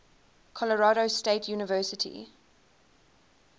colorado state university